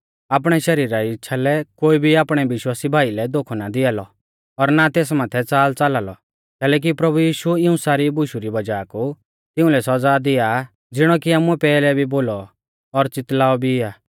आपणै शरीरा री इच़्छ़ा लै कोई भी आपणै विश्वासी भाई लै धोखौ ना दिया लौ और ना तेस माथै च़ालच़ाला लौ कैलैकि प्रभु यीशु इऊं सारी बुशु री वज़ाह कु तिउंलै सौज़ा दिया आ ज़िणौ कि आमुऐ पैहलै भी बोलौ और च़ितलाऔ भी आ